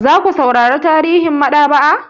Za ku saurara tarihin maɗaba'a?